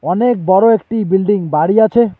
অনেক বড় একটি বিল্ডিং বাড়ি আছে।